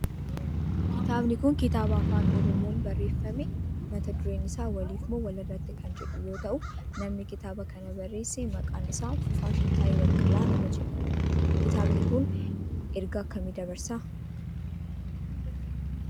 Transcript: kitaabni kun kitaaba afaan oromoon barreeffame mata dureen isaa waliif moo walirratti kan jedhu yoo ta'u namni kitaaba kana barreesse maqaan isaa Fufaa Shittaayee Baqqalaa nama jedhamudha. kitaabni kun ergaa akkamii dabarsa?